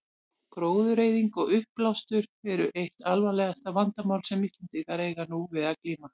Gróðureyðing og uppblástur eru eitt alvarlegasta vandamál sem Íslendingar eiga nú við að glíma.